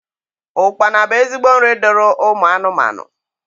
Ụkpana nu ezigbo nri duru ụmụ anụmanụ.